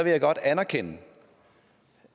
jeg godt anerkende